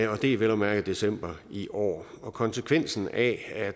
og det er vel at mærke december i år konsekvensen af